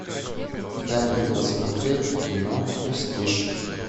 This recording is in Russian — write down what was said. дай мне посмотреть кино престиж